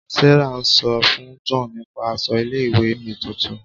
Sarah ń sọ fún John nípa aṣọ ilé ìwé mi tuntun.